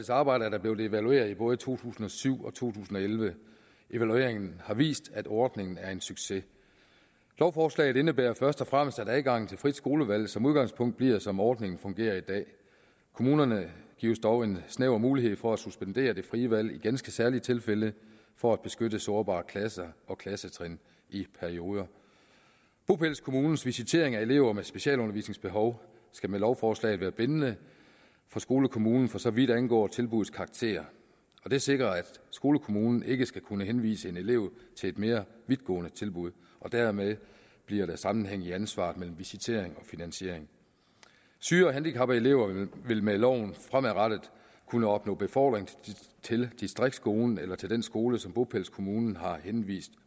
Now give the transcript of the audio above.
arbejde er der blevet evalueret i både to tusind og syv og to tusind og elleve evalueringen har vist at ordningen er en succes lovforslaget indebærer først og fremmest at adgangen til frit skolevalg som udgangspunkt bliver som ordningen fungerer i dag kommunerne gives dog en snæver mulighed for at suspendere det frie valg i ganske særlige tilfælde for at beskytte sårbare klasser og klassetrin i perioder bopælskommunens visitering af elever med specialundervisningsbehov skal med lovforslaget være bindende for skolekommunen for så vidt angår tilbuddets karakter det sikrer at skolekommunen ikke skal kunne henvise en elev til et mere vidtgående tilbud og dermed bliver der sammenhæng i ansvaret mellem visitering og finansiering syge og handicappede elever vil med loven fremadrettet kunne opnå befordring til distriktsskolen eller til den skole som bopælskommunen har henvist